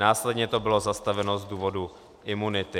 Následně to bylo zastaveno z důvodu imunity.